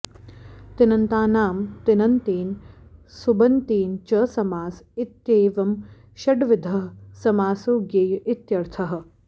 तिङन्तानां तिङन्तेन सुबन्तेन च समास इत्येवं षड्विधः समासो ज्ञेय इत्यर्थः